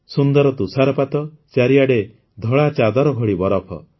ସୁନ୍ଦର ତୁଷାରପାତ ଚାରିଆଡ଼େ ଧଳା ଚାଦର ଭଳି ବରଫ